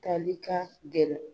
Taali ka gɛlɛn